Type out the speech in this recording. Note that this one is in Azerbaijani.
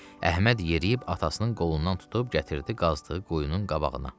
Əhməd yeriyib atasının qolundan tutub gətirdi qazdığı quyunun qabağına.